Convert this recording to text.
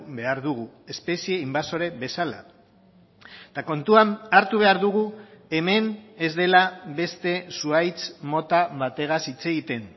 behar dugu espezie inbasore bezala eta kontuan hartu behar dugu hemen ez dela beste zuhaitz mota bategaz hitz egiten